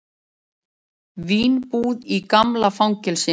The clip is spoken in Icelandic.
Vínbúð í gamla fangelsinu